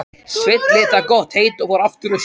Sveinn lét það gott heita og fór aftur austur.